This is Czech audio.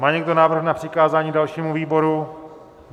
Má někdo návrh na přikázání dalšímu výboru?